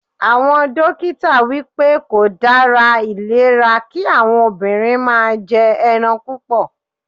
Àwọn dókítà wípé kò dára ìlera kí àwọn obìnrin máa jẹ ẹran púpọ̀.